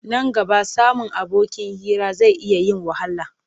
Nan gaba samun abokin hira zai iya yin wahala.